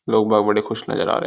लोग-बाग बड़े खुश नजर आ रहे है।